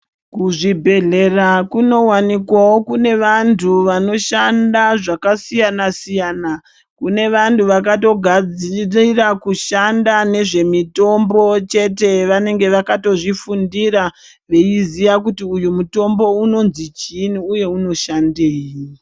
Kuzvibhedhlera kunowanikwawo kuine vantu vanoshanda zvakasiyana siyana kune vantu vanogadzirira nezvekushanda kwezvemitombo chete vanenge vakazvifundira weiziya kuti uyu mutombo unonzi chiini uye unoshandei.